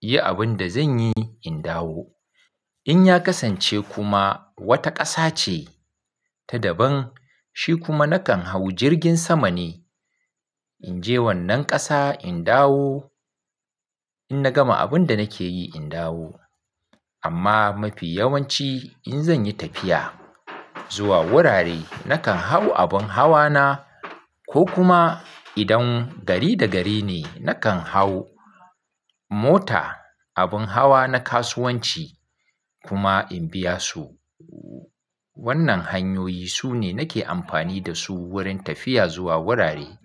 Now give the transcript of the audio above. yi abin da zan yi in dawo. In ya kasance kuma wata ƙasa ce ta daban, shi kuma nakan hau jirgin sama ne in je wannan ƙasa in dawo, in na gama abin da nake yi in dawo. Amma mafi yawanci in zan yi tafiya zuwa wurare, nakan hau abin hawa na ko kuma idan gari da gari ne, nakan hau mota, abin hawa na kasuwanci kuma in biya su. Wannan hanyoyi sune nake amfani da su wurin tafiya zuwa wurare.